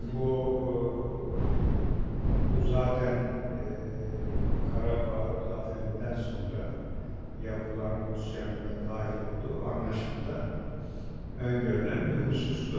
Yani bu ııı, bu zatən eee, Karabağ zafərindən sonra yapılan Rusyanın da dahil olduğu anlaşmada öngörülən bir husustu.